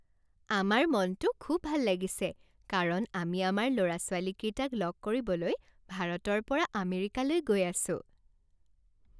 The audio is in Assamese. আমাৰ মনটো খুব ভাল লাগিছে কাৰণ আমি আমাৰ ল'ৰা ছোৱালীকেইটাক লগ কৰিবলৈ ভাৰতৰ পৰা আমেৰিকালৈ গৈ আছোঁ।